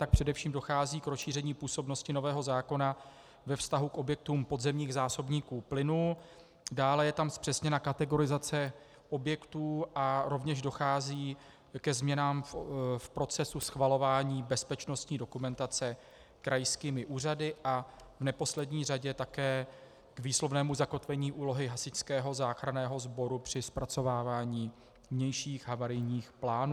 Tak především dochází k rozšíření působnosti nového zákona ve vztahu k objektům podzemních zásobníků plynu, dále je tam zpřesněna kategorizace objektů a rovněž dochází ke změnám v procesu schvalování bezpečnostní dokumentace krajskými úřady a v neposlední řadě také k výslovnému zakotvení úlohy Hasičského záchranného sboru při zpracovávání vnějších havarijních plánů.